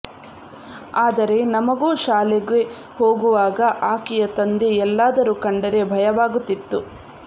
ಆದರೆ ನಮಗೋ ಶಾಲೆಗೆ ಹೋಗುವಾಗ ಆಕೆಯ ತಂದೆ ಎಲ್ಲಾದರೂ ಕಂಡರೆ ಭಯವಾಗುತ್ತಿತ್ತು